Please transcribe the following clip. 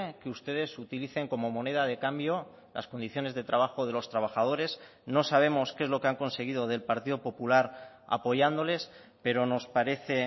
que ustedes utilicen como moneda de cambio las condiciones de trabajo de los trabajadores no sabemos qué es lo que han conseguido del partido popular apoyándoles pero nos parece